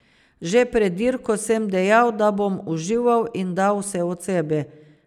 Že pred dirko sem dejal, da bom užival in dal vse od sebe.